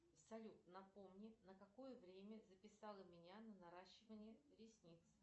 салют напомни на какое время записала меня на наращивание ресниц